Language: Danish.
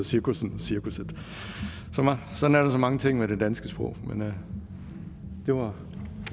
cirkussen og cirkusset sådan er der så mange ting ved det danske sprog men det var